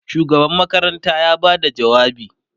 shugaban makaranta ya Bada jawabi